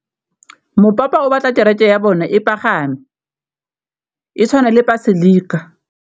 Mopapa o batla kereke ya bone e pagame, e tshwane le paselika.